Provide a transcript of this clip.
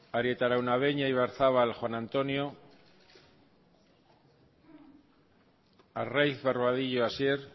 arieta araunabeña ibarzabal juan antonio arraiz barbadillo hasier